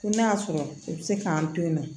Ko n'a y'a sɔrɔ u bɛ se k'an to yen nɔ